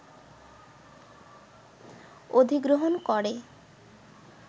অধিগ্রহণ করে